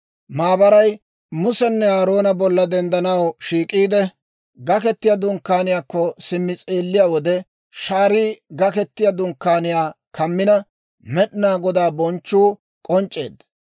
Maabaray Musenne Aaroona bolla denddanaw shiik'iide, Gaketiyaa Dunkkaaniyaakko simmi s'eelliyaa wode, shaarii Gaketiyaa Dunkkaaniyaa kammina, Med'inaa Godaa bonchchuu k'onc'c'eedda.